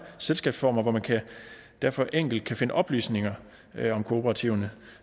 selskabsformer og hvor man derfor enkelt kan finde oplysninger om kooperativerne